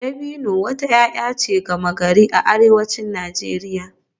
Dabino wata 'ya'ya ce gama-gari a arewacin Najeriya